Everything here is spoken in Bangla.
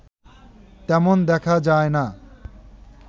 তেমন দেখা যায় না